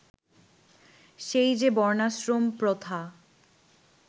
সেই যে বর্ণাশ্রম প্রথা